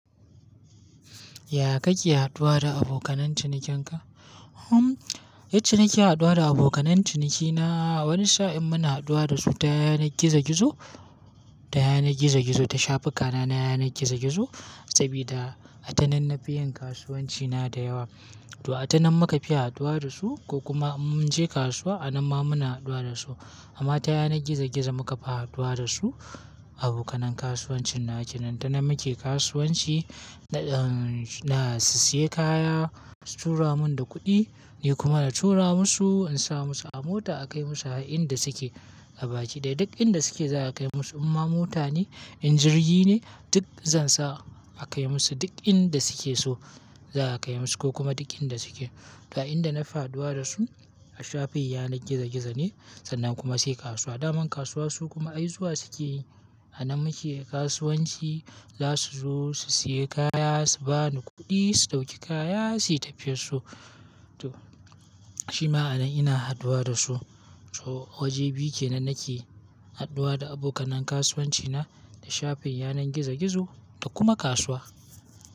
Ya kake haduwa da abokan cinikinka? Hm, yacce nake haduwa da abokan cinikina, wani sa'in muna haduwa dasu ta yanar gizo-gizo, ta yanar gizo-gizo, ta shafukan na yanar gizo-gizo. Sabida atanan nafi yin kasuwanci na da yawa. To atanan muka fi haduwa dasu ko kuma in munje kasuwa a nan ma muna haduwa dasu. Amma ta yanar gizo-gizo muka fi haduwa dasu abokanan kasuwancin nawa kenan. Ta nan muke kasuwanci, na na su siya kaya, su tura mun da kuɗi, ni kuma na tura musu, in sa musu a mota a kai musu inda suke a baki. Da duk inda suke za a kai musu. Imma mota ne, in jirgi ne duk zan sa a kai musu duk inda suke so za a kai musu ko kuma duk inda suke. Ga inda na fi haduwa dasu a shafin yanar gizo-gizo ne sannan kuma sai kasuwa. Daman kasuwa su kuma ai zuwa suke yi. A nan muke kasuwanci, za su zo su siya kaya, su bani kuɗi, su ɗauki kaya suyi tafiyar su. To shima a nan ina haduwa dasu. So waje biyu kenan nake haduwa da abokanan kasuwanci na, da shafin yanar gizo-gizo da kuma kasuwa.